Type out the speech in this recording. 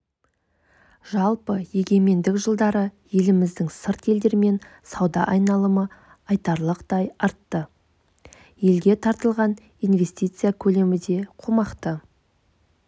жалпы егемендік жылдары еліміздің сырт елдермен сауда айналымы айтарлықтай артты елге тартылған инвестиция көлемі де қомақты